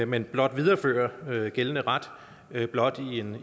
men blot viderefører gældende ret blot